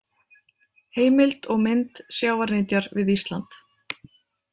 Heimild og mynd Sjávarnytjar við Ísland.